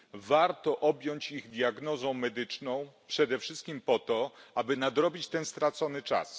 Warto objąć je diagnozą medyczną przede wszystkim po to, aby nadrobić ten stracony czas.